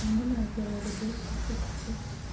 а мне моя первая любовь пишет сейчас